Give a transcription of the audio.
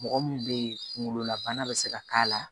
Mɔgɔ min be yen kunkololabana bɛ se ka k'a la